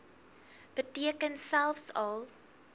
beteken selfs al